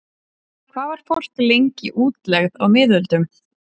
Hvað var fólk lengi í útlegð á miðöldum?